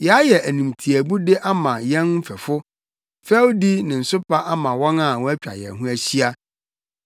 Yɛayɛ animtiaabude ama yɛn mfɛfo, fɛwdi ne nsopa ama wɔn a wɔatwa yɛn ho ahyia.